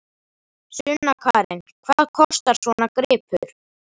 Sunna Karen: Hvað kostar svona gripur?